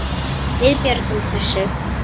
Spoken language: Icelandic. Við björgum þessu.